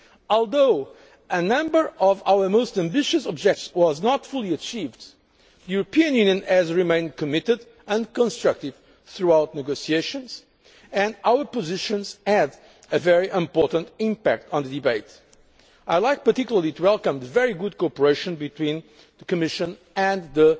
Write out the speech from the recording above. summit for sustainable development. Although a number of our most ambitious objectives were not fully achieved, the European Union remained committed and constructive throughout the negotiations, and our positions had a very important impact on the debate. I would like particularly to welcome the very good cooperation